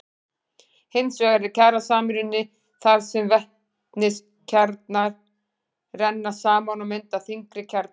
Hins vegar er kjarnasamruni þar sem vetniskjarnar renna saman og mynda þyngri kjarna.